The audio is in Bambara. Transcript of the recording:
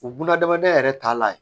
O buna hadamadenya yɛrɛ taalan ye